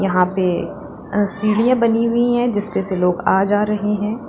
यहां पे सीढिया बनी हुई है जिस पे से लोग आ जा रहे हैं।